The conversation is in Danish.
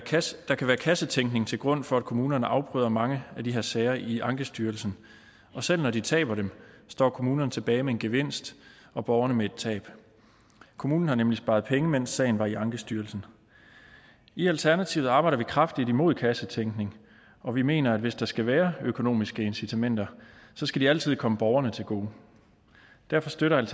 kassetænkning til grund for at kommunerne afbryder mange af de her sager i ankestyrelsen og selv når de taber dem står kommunerne tilbage med en gevinst og borgerne med et tab kommunen har nemlig sparet penge mens sagen var i ankestyrelsen i alternativet arbejder vi kraftigt imod kassetænkning og vi mener at hvis der skal være økonomiske incitamenter så skal de altid komme borgerne til gode derfor støtter